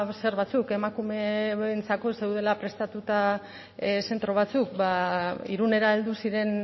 zer batzuk emakumeentzako ez zeudela prestatuta zentro batzuk ba irunera heldu ziren